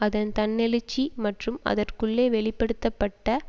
அதன் தன்னெழுச்சி மற்றும் அதற்குள்ளே வெளிப்படுத்த பட்ட